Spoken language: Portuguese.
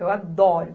Eu adoro.